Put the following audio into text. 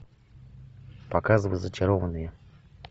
показывай зачарованные